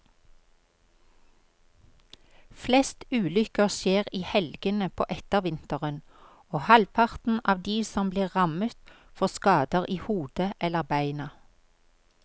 Flest ulykker skjer i helgene på ettervinteren, og halvparten av de som blir rammet får skader i hodet eller beina.